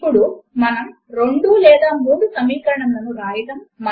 ఇప్పుడు స్క్రీన్ మీద చూపిన విధముగా ఒక సైమల్టేనియస్ సమీకరణముల సెట్ ను వ్రాద్దాము